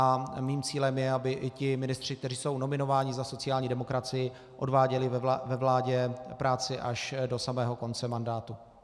A mým cílem je, aby i ti ministři, kteří jsou nominováni za sociální demokracii, odváděli ve vládě práci až do samého konce mandátu.